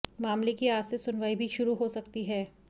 मामले की आज से सुनवाई भी शुरू हो सकती है